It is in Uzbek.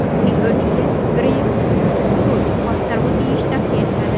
Uning o‘rniga greypfrut va tarvuz yeyish tavsiya qilinadi.